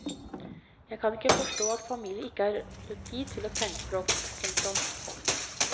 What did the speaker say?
Jeg kan ikke forstå at familier ikke har tid til tegnspråk. punktum